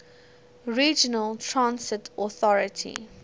regional transit authority